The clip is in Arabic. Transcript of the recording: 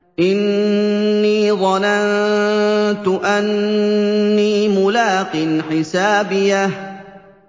إِنِّي ظَنَنتُ أَنِّي مُلَاقٍ حِسَابِيَهْ